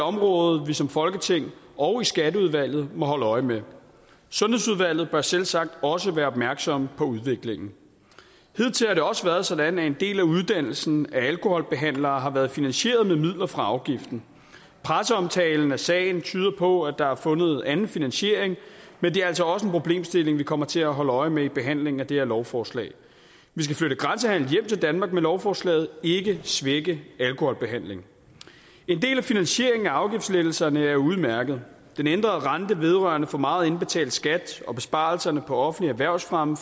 område vi som folketing og i skatteudvalget må holde øje med sundhedsudvalget bør selvsagt også være opmærksomme på udviklingen hidtil har det også været sådan at en del af uddannelsen af alkoholbehandlere har været finansieret med midler fra afgiften presseomtalen af sagen tyder på at der er fundet en anden finansiering men det er altså også en problemstilling vi kommer til at holde øje med i behandlingen af det her lovforslag vi skal flytte grænsehandel hjem til danmark med lovforslaget og ikke svække alkoholbehandling en del af finansieringen af afgiftslettelserne er udmærket for den ændrede rente vedrørende for meget indbetalt skat og besparelserne på offentlig erhvervsfremme